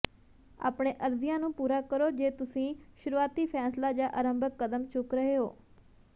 ਆਪਣੇ ਅਰਜ਼ੀਆਂ ਨੂੰ ਪੂਰਾ ਕਰੋ ਜੇ ਤੁਸੀਂ ਸ਼ੁਰੂਆਤੀ ਫ਼ੈਸਲਾ ਜਾਂ ਅਰੰਭਕ ਕਦਮ ਚੁੱਕ ਰਹੇ ਹੋ